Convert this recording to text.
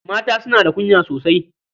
Mata suna da kunya sosai.